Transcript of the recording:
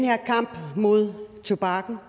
her kamp mod tobakken